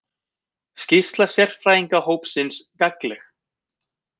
Skýrsla sérfræðingahópsins gagnleg